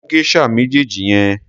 Mú geisha méjèèjì yẹn.